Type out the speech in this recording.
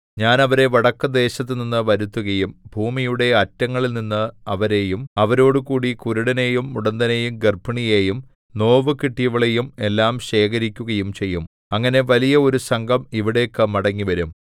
ഞാൻ അവരെ വടക്കുദേശത്തുനിന്ന് വരുത്തുകയും ഭൂമിയുടെ അറ്റങ്ങളിൽനിന്ന് അവരെയും അവരോടുകൂടി കുരുടനെയും മുടന്തനെയും ഗർഭിണിയെയും നോവുകിട്ടിയവളെയും എല്ലാം ശേഖരിക്കുകയും ചെയ്യും അങ്ങനെ വലിയ ഒരു സംഘം ഇവിടേക്ക് മടങ്ങിവരും